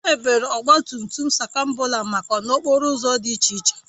Emebere Ọgba tum tum skrambụla maka n'okporo ụzọ dị iche iche